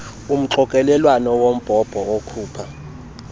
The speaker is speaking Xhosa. umxokelelwano wombhobho okhupha